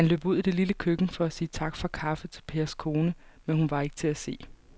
Han løb ud i det lille køkken for at sige tak for kaffe til Pers kone, men hun var ikke til at se.